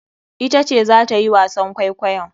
Ita ce zata yi wasan kwaikwayon.